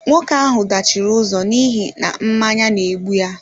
Nwoke ahụ dachiri ụzọ n'ihi na mmanya N'egbu ya